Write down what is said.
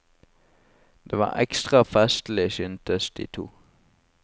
Det var ekstra festlig, syntes de to.